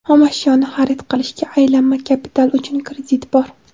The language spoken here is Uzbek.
Xom ashyoni xarid qilishga — Aylanma kapital uchun kredit bor.